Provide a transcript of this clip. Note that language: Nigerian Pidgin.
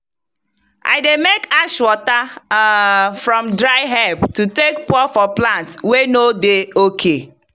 i dey make ash water um from dry herb to take pour for plant wey no dey ok.